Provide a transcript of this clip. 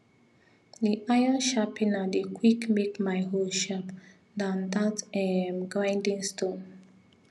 the iron sharpener dey quick make my hoe sharp than that um grinding stone